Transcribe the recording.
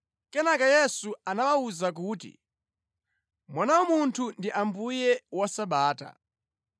Kenaka Yesu anawawuza kuti, “Mwana wa Munthu ndi Ambuye wa Sabata.”